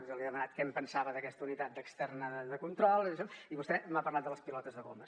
jo li he demanat què en pensava d’aquesta unitat externa de control i vostè m’ha parlat de les pilotes de goma